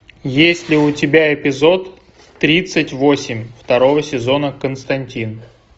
есть ли у тебя эпизод тридцать восемь второго сезона константин